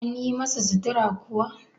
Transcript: an yi masa sittura kuwa?